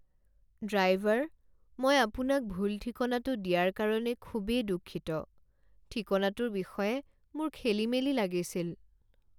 Driver! মই আপোনাক ভুল ঠিকনাটো দিয়াৰ কাৰণে খুবেই দুঃখিত। ঠিকনাটোৰ বিষয়ে মোৰ খেলিমেলি লাগিছিল।